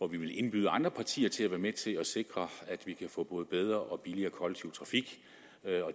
vi vil indbyde andre partier til at være med til om at sikre at vi kan få både bedre og billigere kollektiv trafik